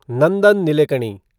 Nandan Nilekani